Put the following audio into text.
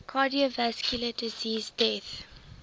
cardiovascular disease deaths